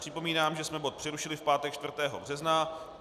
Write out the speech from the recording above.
Připomínám, že jsme bod přerušili v pátek 4. března.